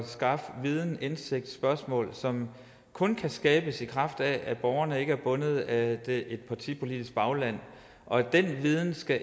skaffe viden og indsigt spørgsmål som kun kan skabes i kraft af at borgerne ikke er bundet af et partipolitisk bagland og den viden skal